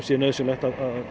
sé nauðsynlegt